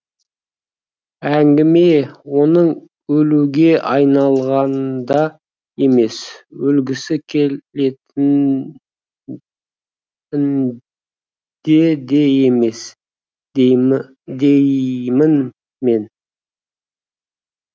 әңгіме оның өлуге айналғанында емес өлгісі келетінінде де емес деймін мен